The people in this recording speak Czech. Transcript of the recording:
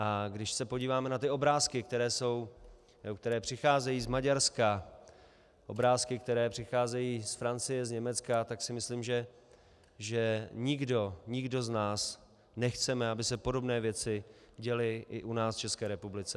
A když se podíváme na ty obrázky, které přicházejí z Maďarska, obrázky, které přicházejí z Francie, z Německa, tak si myslím, že nikdo z nás nechce, aby se podobné věci děly i u nás v České republice.